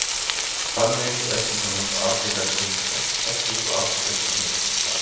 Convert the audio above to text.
Þannig er til dæmis Afríka Grikkja ekki sú Afríka sem við þekkjum í dag.